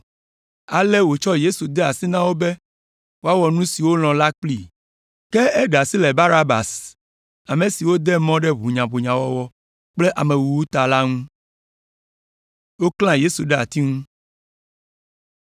Ale wòtsɔ Yesu de asi na wo be woawɔ nu si wolɔ̃ la kplii. Ke eɖe asi le Baraba ame si wode mɔ ɖe ʋunyaʋunyawɔwɔ kple amewuwu ta la ŋu.